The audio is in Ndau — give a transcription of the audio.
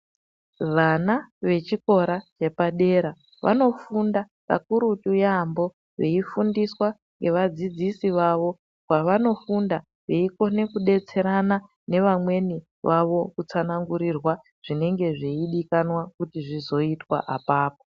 Vana vechikora chepadera vanofunda kakurutu yaampo veifundiswa ngevadzidziso vavo pavanofunda veikone kudetserana nevamweni vawo kutsanangurirwa zvinenge zveidikanwa kuti zvizoitwa apapo.